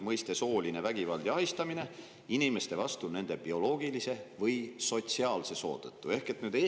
Mõiste "sooline vägivald ja ahistamine" – inimeste vastu nende bioloogilise või sotsiaalse soo tõttu.